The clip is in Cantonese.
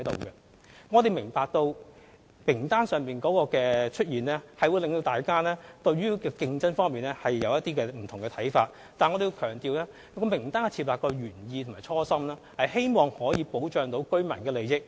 當局明白到參考名單會令市民對競爭有不同的看法，但我們要強調，設立參考名單的原意及初衷是希望保障居民的利益。